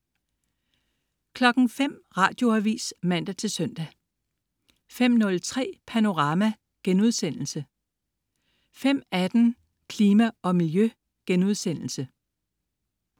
05.00 Radioavis (man-søn) 05.03 Panorama* 05.18 Klima og Miljø*